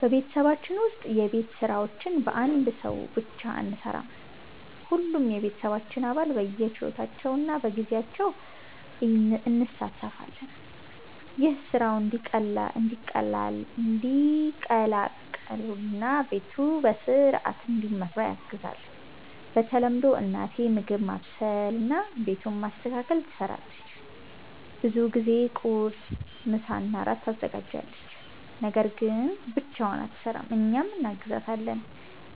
በቤተሰባችን ውስጥ የቤት ስራዎች በአንድ ሰው ብቻ አንሠራም። ሁሉም የቤተሰባችን አባል በየችሎታችን እና በጊዜያችን እንሣተፋለን። ይህም ስራው እንዲቀላቀል እና ቤቱ በሥርዓት እንዲመራ ያግዛል። በተለምዶ እናቴ ምግብ ማብሰልና ቤቱን ማስተካከል ትሰራለች። ብዙ ጊዜ ቁርስ፣ ምሳና እራት ታዘጋጃለች። ነገር ግን ብቻዋን አትሰራም፤ እኛም እናግዛታለን።